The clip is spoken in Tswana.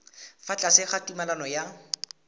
fa tlase ga tumalano ya